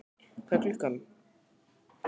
Hvað er klukkan?